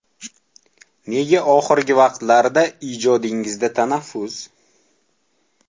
Nega oxirgi vaqtlarda ijodingizda tanaffus?